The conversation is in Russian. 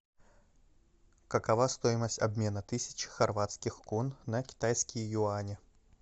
какова стоимость обмена тысячи хорватских кун на китайские юани